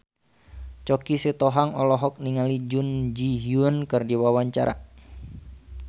Choky Sitohang olohok ningali Jun Ji Hyun keur diwawancara